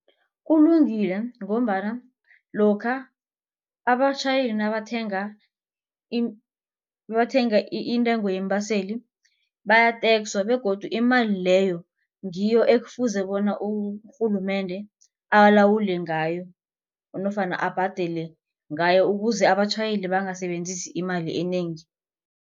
Kulungile ngombana lokha abatjhayeli nabathenga nabathenga intengo yeembaseli bayatekswa begodu imali leyo ngiyo ekufuze bona urhulumende alawule ngayo nofana abhadele ngayo ukuze abatjhayeli bangasebenzisi imali enengi.